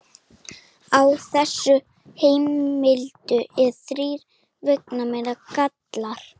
Á þessum heimildum eru þrír veigamiklir gallar.